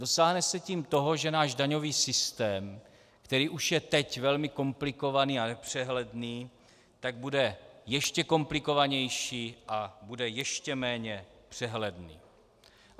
Dosáhne se tím toho, že náš daňový systém, který už je teď velmi komplikovaný a nepřehledný, tak bude ještě komplikovanější a bude ještě méně přehledný.